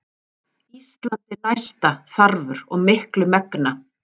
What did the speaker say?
Ísalandi næsta þarfur og miklu megna.